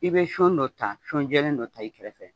I bɛ sɔn dɔ ta sɔnjɛlen dɔ ta i kɛrɛ fɛ.